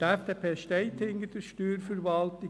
Die FDP steht hinter der Steuerverwaltung.